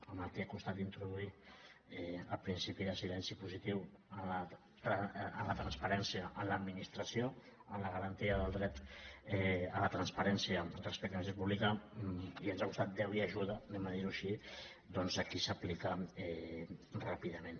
amb el que ha costat introduir el principi de silenci positiu en la transparència en l’administració en la garantia del dret a la transparència respecte a l’administració pública i ens ha costat déu i ajuda diguem ho així doncs aquí s’aplica ràpidament